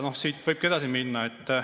Siit võibki edasi minna.